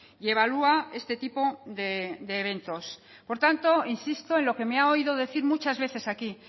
y evalúa este tipo de eventos por tanto insisto en lo que me ha oído decir muchas veces aquí